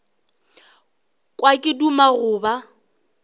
kwa ke duma go ba